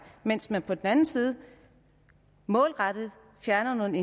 mens man på den anden side målrettet fjerner nogle